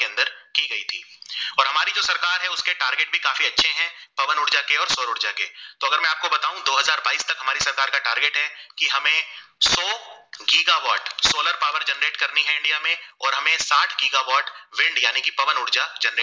wind यानी की पवन ऊर्जा generate